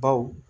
Baw